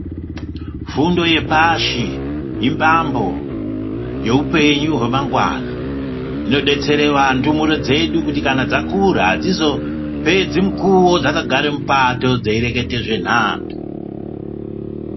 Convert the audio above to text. Fundo yepashi imbambo yehupenyu hwemangwana inobetsere kuti ndumure dzedu kana dzakura adzizopedzi mukuwo dzakagare mupato dzeirekete zvenhando .